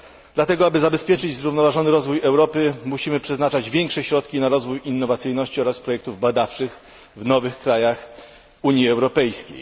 Dlatego, aby zabezpieczyć zrównoważony rozwój Europy musimy przeznaczać większe środki na rozwój innowacyjności oraz projektów badawczych w nowych krajach Unii Europejskiej.